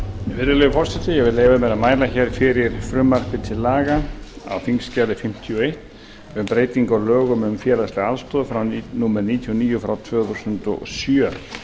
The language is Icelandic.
virðulegi forseti ég mæli hér fyrir frumvarpi til laga á þingskjali fimmtíu og eitt um breytingu á lögum um félagslega aðstoð númer níutíu og níu tvö þúsund og sjö